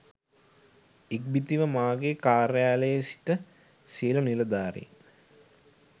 ඉක්බිතිව මගේ කාර්යාලයේ සිට සියලූ නිලධාරින්